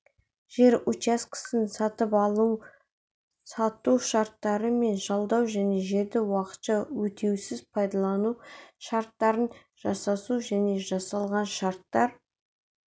жер учаскесін сатып алу-сату шарттары мен жалдау және жерді уақытша өтеусіз пайдалану шарттарын жасасу және жасалған шарттар